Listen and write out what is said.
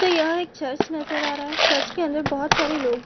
तो यहाँ एक चर्च नजर आ रहा है चर्च के अंदर बहुत सारे लोग --